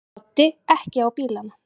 Broddi: Ekki á bílana?